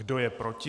Kdo je proti?